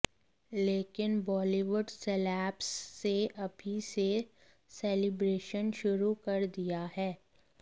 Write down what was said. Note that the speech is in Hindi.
लेकिन बॉलीवुड सेलेब्स से अभी से सेलिब्रेशन शुरू कर दिया है